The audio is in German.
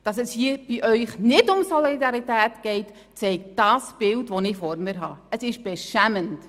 Dass es Ihnen hier nicht um Solidarität geht, zeigt das Bild, das ich vor mir habe, und das ist beschämend.